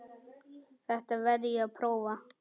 Þetta verð ég að prófa